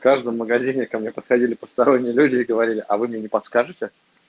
каждом магазине ко мне подходили посторонние люди говорили а вы мне не подскажете